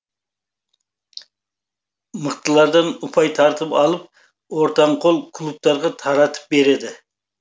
мықтылардан ұпай тартып алып ортанқол клубтарға таратып береді